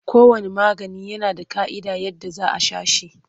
Kowanne magani yana da ƙa'idar yadda za a sha shi.